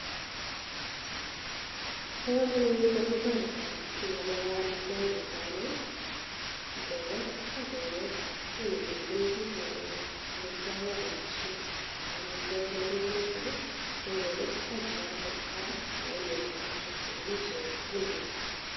Bokomonut amun toreti ng'alekab amitwokik netai non, ng'ekes ak keng'a ko nyumnyumchin biik ng'alekab amitwokik ak omishet ak amitwokik nerube notok ko ng'ekes ak ialde kora ko koinyoru rabishek cheimuch iyaen tukuk alak.